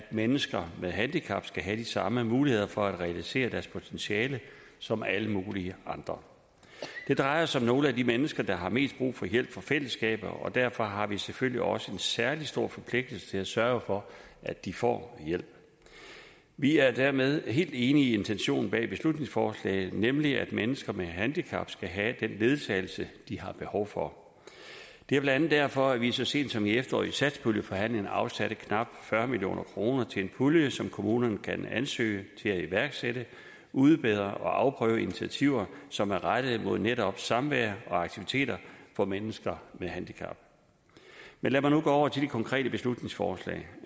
mennesker med handicap skal have de samme muligheder for at realisere deres potentiale som alle mulige andre det drejer sig om nogle af de mennesker der har mest brug for hjælp fra fællesskabet og derfor har vi selvfølgelig også en særlig stor forpligtelse til at sørge for at de får hjælp vi er dermed helt enige i intentionen bag beslutningsforslaget nemlig at mennesker med handicap skal have den ledsagelse de har behov for det er blandt andet derfor vi så sent som i efteråret i satspuljeforhandlingerne har afsat knap fyrre million kroner til en pulje som kommunerne kan ansøge til at iværksætte udbedre og afprøve initiativer som er rettet mod netop samvær og aktiviteter for mennesker med handicap men lad mig nu gå over til det konkrete beslutningsforslag